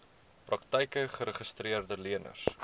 praktyke geregistreede leners